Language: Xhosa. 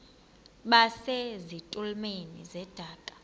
base zitulmeni zedaka